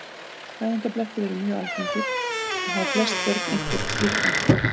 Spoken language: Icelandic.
Fæðingarblettir eru mjög algengir og hafa flest börn einhvern slíkan.